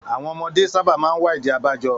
Àwọn ọmọdé sábà máa ń wá ìdí abájọ.